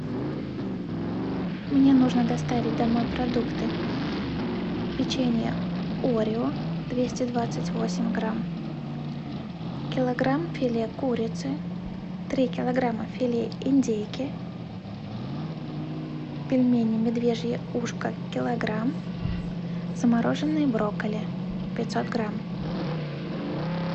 мне нужно доставить домой продукты печенье орео двести двадцать восемь грамм килограмм филе курицы три килограмма филе индейки пельмени медвежье ушко килограмм замороженные брокколи пятьсот грамм